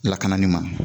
Lakana ni ma